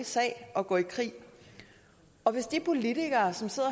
sag at gå i krig og hvis de politikere som sad